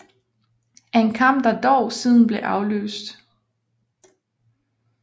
En kamp der dog siden blev aflyst